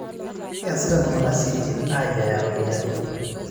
Keeasita ltungana siaitin aayiaya ropiyiani